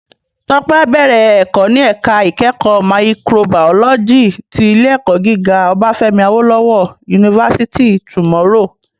Tope á bèrè èkò ni èká ikèékò máyìkróbàyólòjí ti Ilé èkò gigá Obafemi Awolowo University tomorrow